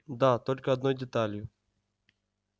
да только одной деталью